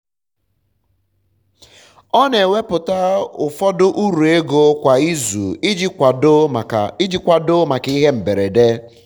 ọ na ewepụta ụfọdụ uru ego kwa izu iji kwado maka ihe mberede